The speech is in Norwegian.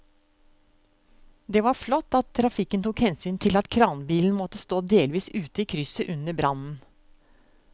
Det var flott at trafikken tok hensyn til at kranbilen måtte stå delvis ute i krysset under brannen.